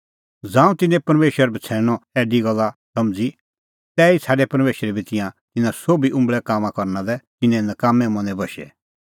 ज़ांऊं तिन्नैं परमेशर बछ़ैणनअ ऐडी गल्ल समझ़ी तैही छ़ाडै परमेशरै बी तिंयां तिन्नां सोभी उंबल़ै कामां करना लै तिन्नें नकाम्मैं मनें बशै